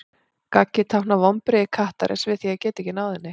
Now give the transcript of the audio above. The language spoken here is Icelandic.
Gaggið táknar vonbrigði kattarins við því að geta ekki náð henni.